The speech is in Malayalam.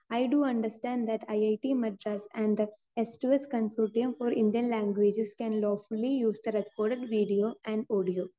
Speaker 2 I do understand that IIT Madras and the സ്‌2സ്‌ consortium for Indian languages can lawfully use the record video and audio.